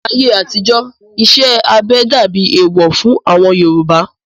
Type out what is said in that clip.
Ní ayé àtijó, iṣẹ́ abẹ dàbí ẹ̀ẹ̀wọ̀ fún àwọn Yorùbá